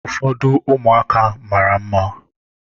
Ụfọdụ ụmụaka mara mma.